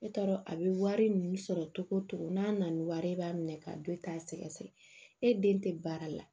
E t'a dɔn a bɛ wari min sɔrɔ togo togo n'a nana ni wari ye i b'a minɛ ka don i t'a sɛgɛsɛgɛ e den tɛ baara la